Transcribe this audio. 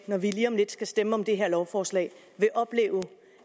når vi lige om lidt skal stemme om det her lovforslag vil opleve